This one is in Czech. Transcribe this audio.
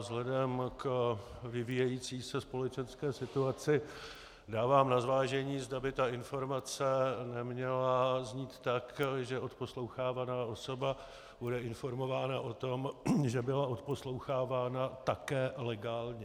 Vzhledem k vyvíjející se společenské situaci dávám na zvážení, zda by ta informace neměla znít tak, že odposlouchávaná osoba bude informována o tom, že byla odposlouchávána také legálně.